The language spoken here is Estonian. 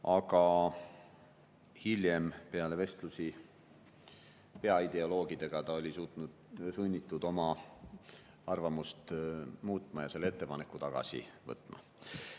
Aga hiljem, peale vestlusi peaideoloogidega oli ta sunnitud oma arvamust muutma ja selle ettepaneku tagasi võtma.